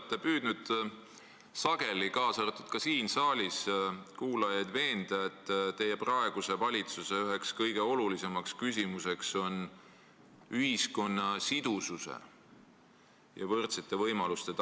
Te olete püüdnud sageli, kaasa arvatud siin saalis, kuulajaid veenda, et teie praeguse valitsuse üks kõige olulisemaid eesmärke on tagada ühiskonna sidusus ja võrdsed võimalused.